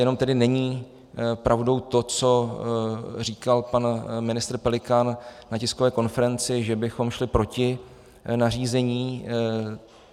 Jenom tedy není pravdou to, co říkal pan ministr Pelikán na tiskové konferenci, že bychom šli proti nařízení.